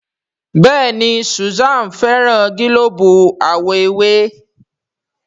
Béèni Susan féràn gilobu àwo ewé.